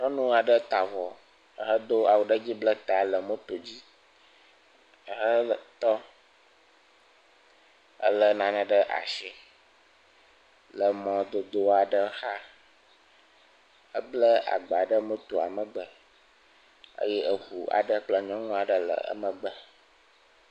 Nyɔnu aɖe ta avɔ, ehedo awu ɖe dzi, ble ta le moto dzi, ehe tɔ elé nane ɖe asi le mɔdodo aɖe xa, eble agba ɖe motoa megbe eye eŋu aɖe kple nyɔnu aɖe le emegbe.